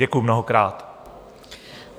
Děkuju mnohokrát.